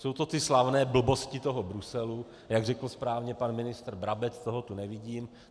Jsou to ty slavné blbosti toho Bruselu, jak řekl správně pan ministr Brabec - toho tu nevidím.